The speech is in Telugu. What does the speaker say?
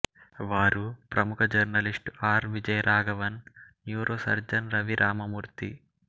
వారు ప్రముఖ journalist R Vijayaraghavan neurosurgeon Ravi Ramamurthy